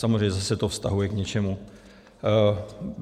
Samozřejmě zase to vztahuje k něčemu.